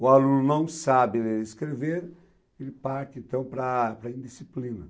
O aluno não sabe ler e nem escrever, e parte então para para a indisciplina.